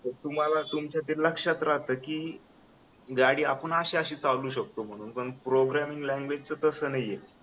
तर तुम्हाला तुमचा ते लक्ष्यात राहतय कि गाडी आपण अशी अशी चालवू शकतो पण प्रोग्रामिंग लैंग्वेज च तसं नाहीये